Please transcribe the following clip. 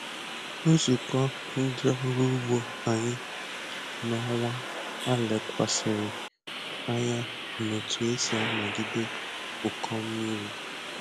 Nzukọ ndị ọrụ ugbo anyị n’ọnwa a lekwasịrị anya n’otú e si anagide ụkọ mmiri.